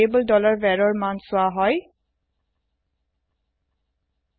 variable varৰ মান চোৱা হয় স্বিচ স্টেতমেন্টত